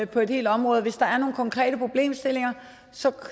på et helt område hvis der er nogle konkrete problemstillinger så